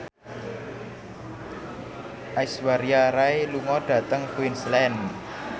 Aishwarya Rai lunga dhateng Queensland